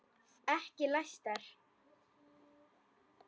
Ekki læstar.